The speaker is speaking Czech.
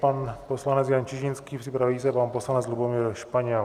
Pan poslanec Jan Čižinský, připraví se pan poslanec Lubomír Španěl.